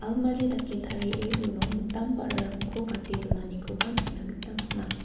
almari dake tarie uno mitam ba·rarangko gate donanikoba nikna gita man·a.